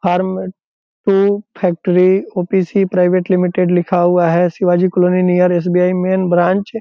Factory OPC. Private limited लिखा हुआ है । Shivaji colony near SBI. Main branch |